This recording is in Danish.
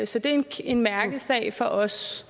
så det en mærkesag for os